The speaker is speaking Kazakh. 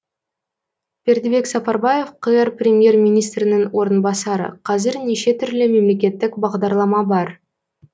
бердібек сапарбаев қр премьер министрінің орынбасары қазір неше түрлі мемлекеттік бағдарлама бар